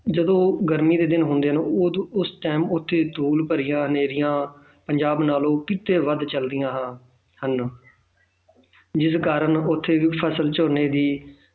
ਜਦੋਂ ਗਰਮੀ ਦੇ ਦਿਨ ਹੁੰਦੇ ਹਨ ਉਦੋਂ ਉਸ time ਉੱਥੇ ਧੂੜ ਭਰੀਆਂ ਹਨੇਰੀਆਂ ਪੰਜਾਬ ਨਾਲੋਂ ਕਿਤੇ ਵੱਧ ਚੱਲਦੀਆਂ ਹਨ ਜਿਹਦੇ ਕਾਰਨ ਉੱਥੇ ਦੀ ਫ਼ਸਲ ਝੋਨੇ ਦੀ